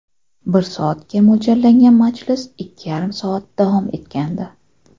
Bir soatga mo‘ljallangan majlis ikki yarim soat davom etgandi.